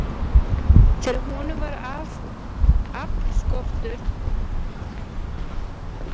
Þegar honum varð aflskortur, þá veitti kona hans honum lið.